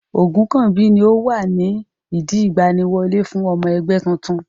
Ogunkanmbi ni ó wà ní ìdí ìgbaniwọlé fún ọmọ ẹgbẹ́ titun.